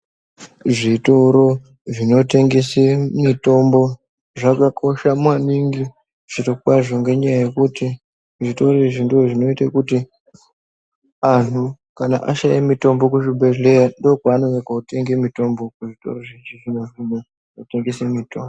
Zvitoro zvinotengese mitombo zvakakosha maningi zviro kwazvo. Ngenyaya yekuti zvitoro izvi ndozvinoite kuti antu kana ashaya mutombo kuzvibhedhleya ndokwanouye kotenge mitombo. Kuzvitoro izvozvizvi zvinotengesa mitombo.